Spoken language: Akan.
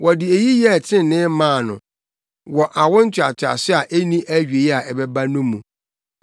Wɔde eyi yɛɛ trenee maa no wɔ awo ntoatoaso a enni awiei a ɛbɛba no mu.